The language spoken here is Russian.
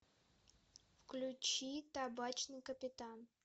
включи табачный капитан